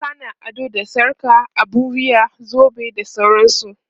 mata na ado da sarka, abun wuya, zobe da sauransu